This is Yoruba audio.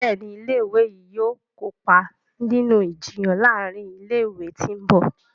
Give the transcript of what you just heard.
Béèni ilé ìwé yí yóò kópa nínú Ìjiyàn láàrin ilé ìwé tó ńbo.